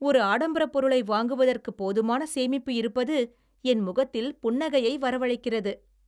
ஒரு ஆடம்பரப் பொருளை வாங்குவதற்கு போதுமான சேமிப்பு இருப்பது என் முகத்தில் புன்னகையை வரவழைக்கிறது.